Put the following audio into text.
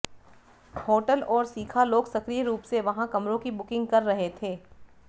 hotel और सीखा लोग सक्रिय रूप से वहाँ कमरों की बुकिंग कर रहे थे